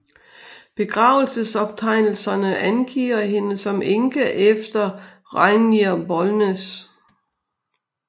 Begravelsesoptegnelserne angiver hende som enke efter Rijnier Bolnes